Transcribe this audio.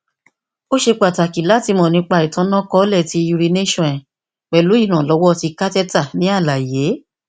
o ṣe pataki lati mọ nipa itanakọọlẹ ti urination rẹ pẹlu iranlọwọ ti catheter ni alaye